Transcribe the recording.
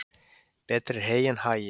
Betra er hey en hagi.